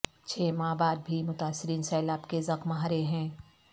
چھ ماہ بعد بھی متاثرین سیلاب کے زخم ہرے ہیں